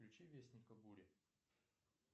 включи вестника бури